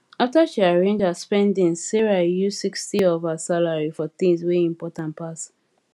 after she arrange her spendings sarah use 60 of her salary for things wey important pass